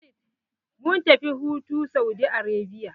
Mun tafi hutu Saudi Arabia.